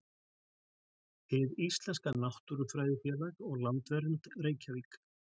Hið íslenska náttúrufræðifélag og Landvernd, Reykjavík.